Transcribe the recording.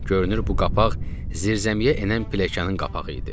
Görünür bu qapaq zirzəmiyə enən piləkanın qapağı idi.